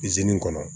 kɔnɔ